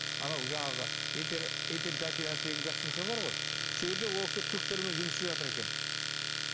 анау жаңағы этель этель гостиница бар ғой сол жерде ол кісі түріктермен жұмыс істеп жатыр екен